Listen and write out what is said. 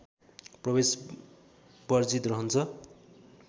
प्रवेश वर्जित रहन्छ